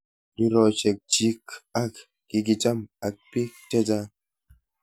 riroshek chik ko kikicham ak bik chechang'